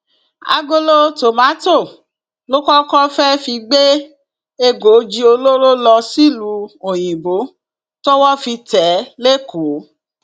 àgolo tomato lokoke fee fi gbé ègòòji olóró lọ sílùú òyìnbó tọwọ fi tẹ ẹ lẹkọọ